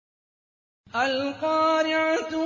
الْقَارِعَةُ